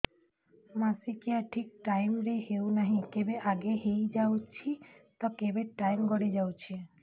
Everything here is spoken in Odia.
ମାସିକିଆ ଠିକ ଟାଇମ ରେ ହେଉନାହଁ କେବେ ଆଗେ ହେଇଯାଉଛି ତ କେବେ ଟାଇମ ଗଡି ଯାଉଛି